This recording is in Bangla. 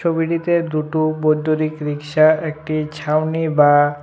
ছবিটিতে দুটো বৈদ্যুতিক রিক্সা একটি ছাউনি বা--